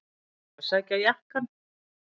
Að sækja jakkann!